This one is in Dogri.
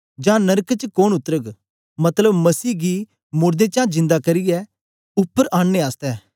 जां नरक च कोन उतरग मतलब मसीह गी मोड़दें चा जिदां करियै उपर आननें आसतै